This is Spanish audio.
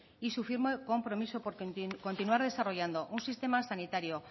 y su firme compromiso porque continuar desarrollando un sistema sanitario